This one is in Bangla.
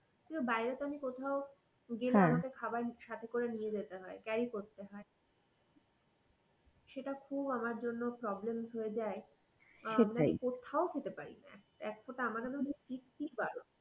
বাইরে তো আমি কোথাও গেলাম আমায় খাবার সাথে করে হয় carry করতে হয় সেইটা খুব আমার জন্যে problems হয়ে যাই কোত্থাও খেতে পারিনা এক ফোটা কি কি বারণ।